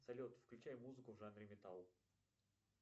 салют включай музыку в жанре металл